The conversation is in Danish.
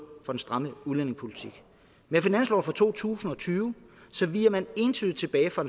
for en stram udlændingepolitik med finansloven for to tusind og tyve viger man entydigt tilbage fra